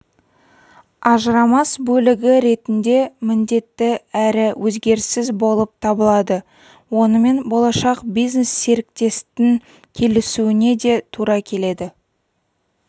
ажырамас бөлігі ретінде міндетті әрі өзгеріссіз болып табылады онымен болашақ бизнес-серіктестің келісуіне де тура келеді